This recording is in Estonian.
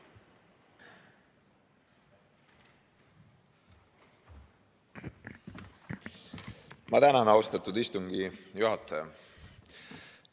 Ma tänan, austatud istungi juhataja!